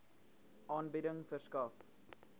aanbieding verskaf